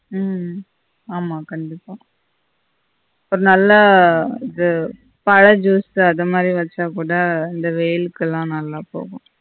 உம் ஆமா கண்டிப்பா இப்ப நல்ல இது பழ juice அத மாதி வெச்சா கூட இந்த வெயில்கல்லாம் நல்லா போகும்